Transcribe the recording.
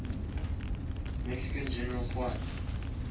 mexican general juan